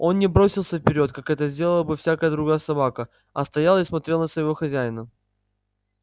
он не бросился вперёд как это сделала бы всякая другая собака а стоял и смотрел на своего хозяина